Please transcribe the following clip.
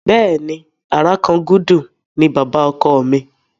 Bẹ́ẹ̀ni, Àràkangúdú ni bàbá ọkọ mi.